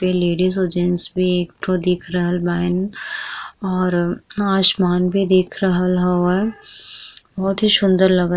पे ladies और gents भी एक ठो दिख दिख रहल बाइन और आसमान भी दिख रहल हवे बहुत ही सुन्दर लगत--